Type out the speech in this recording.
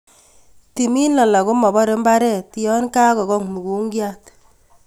Timin alak komobore mbaret yon kakong' mukunkiat.